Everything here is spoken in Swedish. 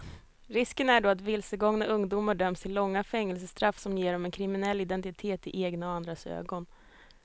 Risken är då att vilsegångna ungdomar döms till långa fängelsestraff som ger dem en kriminell identitet i egna och andras ögon.